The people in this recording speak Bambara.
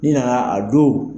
Naa a don